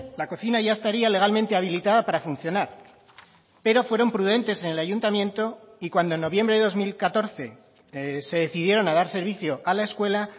la cocina ya estaría legalmente habilitada para funcionar pero fueron prudentes en el ayuntamiento y cuando en noviembre de dos mil catorce se decidieron a dar servicio a la escuela